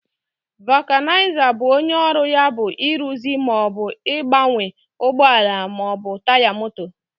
vulcanizer bụ onye ọrụ ya bụ ịrụzi ma ọ bụ gbanwee ụgbọ ala ma ọ bụ taya moto.